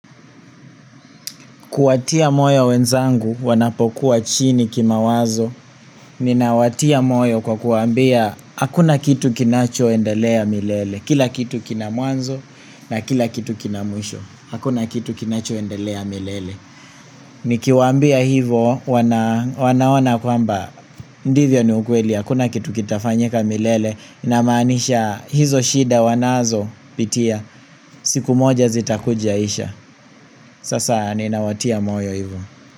Kuwatia moyo wenzangu wanapokuwa chini kimawazo, ninawatia moyo kwa kuwaambia hakuna kitu kinachoendelea milele, kila kitu kina mwanzo na kila kitu kina mwisho. Hakuna kitu kinachoendelea milele. Nikiwaambia hivyo, wanaona kwamba, ndivyo ni ukweli, hakuna kitu kitafanyika milele namanisha hizo shida wanazopitia siku moja zitakuja isha. Sasa ninawatia moyo hivyo.